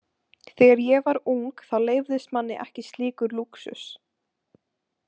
Þegar ég var ung þá leyfðist manni ekki slíkur lúxus.